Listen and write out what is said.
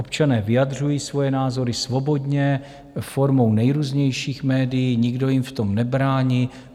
Občané vyjadřují svoje názory svobodně formou nejrůznějších médií, nikdo jim v tom nebrání.